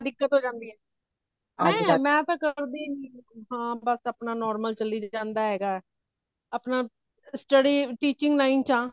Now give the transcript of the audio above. ਦਿੱਕਤ ਹੋ ਜਾਂਦੀ ਹੈ ਮੈਂ ਮੈਂ ਤਾ ਕਰਦੀ ਹੀ ਨਹੀਂ ਬਸ ਆਪਣਾ normal ਚਲੀ ਜਾਂਦਾ ਹੈਗਾ ਆਪਣਾ study teaching line ਵਿਚ ਹਾਂ